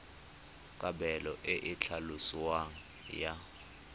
kabelo e e tlhaloswang ya